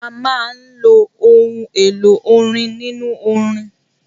A máa ń lo òun èlò orin nínú orin.